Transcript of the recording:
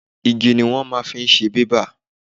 Igi ni wọ́n máa fi ń ṣe bébà.